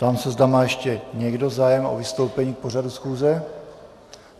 Ptám se, zda má ještě někdo zájem o vystoupení k pořadu schůze.